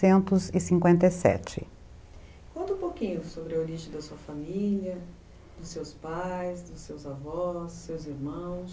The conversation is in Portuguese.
cinquenta e sete. Conta um pouquinho sobre a origem da sua família, dos seus pais, dos seus avós, seus irmãos.